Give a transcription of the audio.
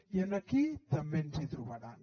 i aquí també ens hi trobaran